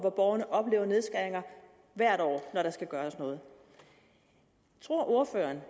og borgerne oplever nedskæringer hvert år når der skal gøres noget tror ordføreren